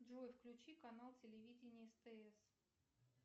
джой включи канал телевидения стс